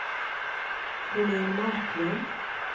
Helén Marklund